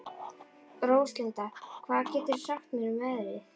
Róslinda, hvað geturðu sagt mér um veðrið?